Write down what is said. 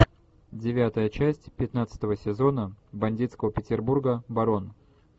девятая часть пятнадцатого сезона бандитского петербурга барон